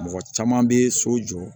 Mɔgɔ caman bɛ so jɔ